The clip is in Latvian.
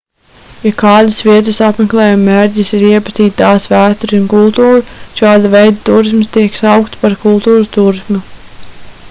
ja kādas vietas apmeklējuma mērķis ir iepazīt tās vēsturi un kultūru šāda veida tūrisms tiek saukts par kultūras tūrismu